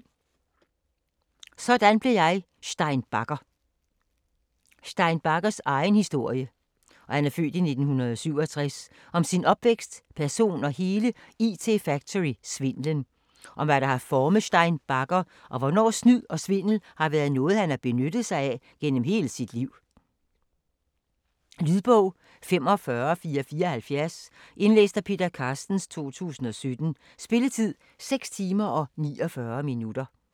Sådan blev jeg Stein Bagger Stein Baggers (f. 1967) egen historie om sin opvækst, person og hele IT Factory svindlen. Om hvad der har formet Stein Bagger og hvordan snyd og svindel har været noget han har benyttet sig af gennem hele sit liv. Lydbog 45474 Indlæst af Peter Carstens, 2017. Spilletid: 6 timer, 49 minutter.